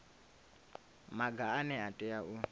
maga ane a tea u